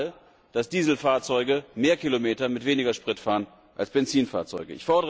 Wir wissen alle, dass Dieselfahrzeuge mehr Kilometer mit weniger Sprit fahren als Benzinfahrzeuge.